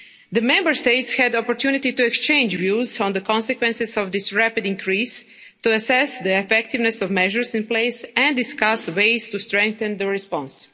The Member States had an opportunity to exchange views on the consequences of this rapid increase, to assess the effectiveness of measures in place and discuss ways to strengthen the response.